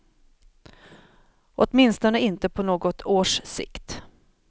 Åtminstone inte på något års sikt.